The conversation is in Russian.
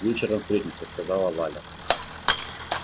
вечером встретимся сказала валя